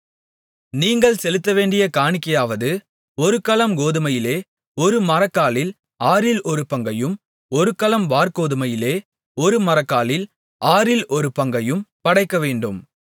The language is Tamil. நீங்கள் செலுத்தவேண்டிய காணிக்கையாவது ஒரு கலம் கோதுமையிலே ஒரு மரக்காலில் ஆறில் ஒருபங்கையும் ஒரு கலம் வாற்கோதுமையிலே ஒரு மரக்காலில் ஆறில் ஒரு பங்கையும் படைக்கவேண்டும்